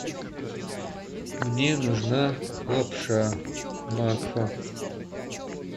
мне нужна лапша макфа